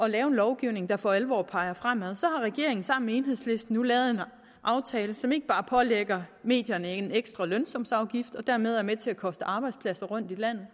lave en lovgivning der for alvor peger fremad har regeringen sammen med enhedslisten nu lavet en aftale som pålægger medierne en ekstra lønsumsafgift og dermed er med til at koste arbejdspladser rundt i landet